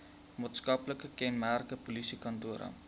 maatskaplike kenmerke polisiekantore